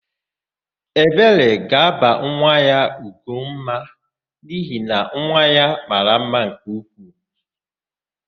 Ebere ga-aba nwa ya Ugomma n'ihi na nwa ya mara mma nke ukwuu.